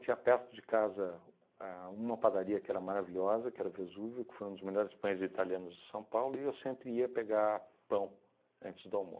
Tinha perto de casa a uma padaria que era maravilhosa, que era Vesúvio, que foi um dos melhores pães italianos de São Paulo, e eu sempre ia pegar pão antes do